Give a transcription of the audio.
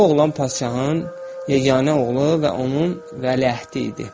Bu oğlan padşahın yeganə oğlu və onun vəliəhdi idi.